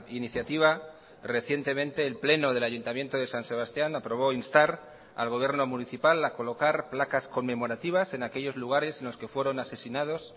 iniciativa recientemente el pleno del ayuntamiento de san sebastián aprobó instar al gobierno municipal a colocar placas conmemorativas en aquellos lugares en los que fueron asesinados